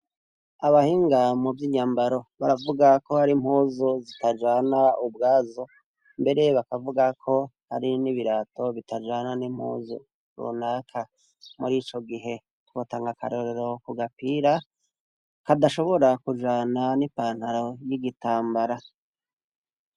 abahinga mu by'inyambaro baravuga ko hari mpuzu zitajana ubwazo mbere bakavuga ko hari n'ibirato bitajana n'impuzu runaka muri ico gihe twotanga akarorero kugapira kadashobora kujana n'ipantaro y'igitambara